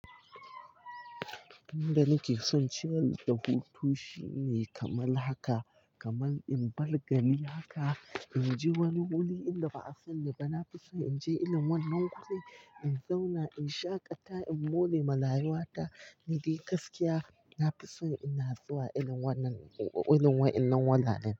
Inda nake son cire da hutu shine kamar haka, kamar in bar gari haka, in je wani wuri inda ba a sani ba. Na fi son in je irin wannan guri, in zauna in shaƙata, in morewa rayuwata, ni dai gaskiya. Na fi son ina zuwa irin wannan, irin waɗannan wuraren.